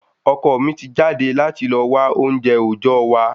Ọkọ mi ti jáde láti lọ wa ounjẹ ojọ wa